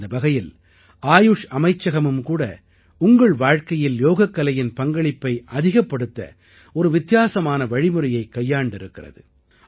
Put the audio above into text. இந்த வகையில் ஆயுஷ் அமைச்சகமும் கூட உங்கள் வாழ்க்கையில் யோகக்கலையின் பங்களிப்பை அதிகப்படுத்த ஒரு வித்தியாசமான வழிமுறையைக் கையாண்டிருக்கிறது